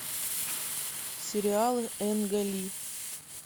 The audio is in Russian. сериалы энга ли